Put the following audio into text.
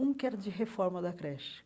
Um que era de reforma da creche.